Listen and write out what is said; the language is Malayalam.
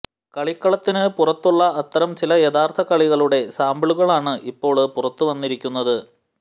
കളിക്കളത്തിന് പുറത്തുള്ള അത്തരം ചില യഥാര്ഥ കളികളുടെ സാമ്പിളുകളാണ് ഇപ്പോള് പുറത്ത് വന്നിരിക്കുന്നത്